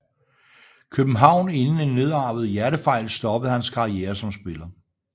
København inden en nedarvet hjertefejl stoppede hans karriere som spiller